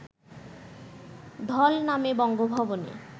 ঢল নামে বঙ্গভবনে